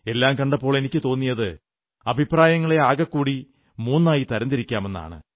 എല്ലാം കണ്ടപ്പോൾ എനിക്കു തോന്നിയത് അഭപ്രായങ്ങളെ ആകെക്കൂടി മൂന്നായി തരം തിരിക്കാമെന്നാണ്